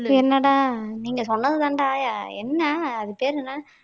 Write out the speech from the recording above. என்னடா நீங்க சொன்னதுதான்டா என்ன அது பேரு என்ன